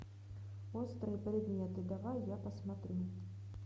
острые предметы давай я посмотрю